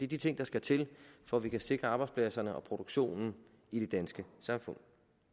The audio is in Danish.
de ting der skal til for at vi kan sikre arbejdspladserne og produktionen i det danske samfund